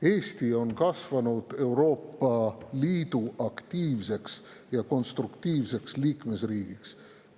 Eesti on kasvanud Euroopa Liidu aktiivseks ja konstruktiivsete liikmesriigiks.